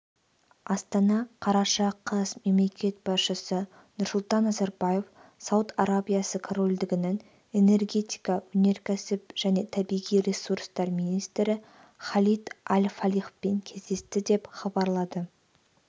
астана қараша қаз мемлекет басшысы нұрсұлтан назарбаев сауд арабиясы корольдігінің энергетика өнеркәсіп және табиғи ресурстар министрі халид аль-фалихпен кездесті деп хабарлады